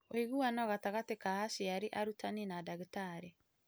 ũiguano gatagatĩ ka aciari, arutani, na ndagĩtarĩ.